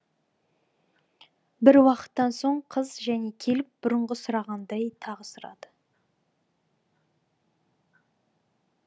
бір уақыттан соң қыз және келіп бұрынғы сұрағандай тағы сұрады